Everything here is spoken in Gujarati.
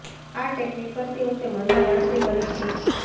આ ટેક્નિક કરતી વખતે મનમાં ગણતરી કરી શકો છો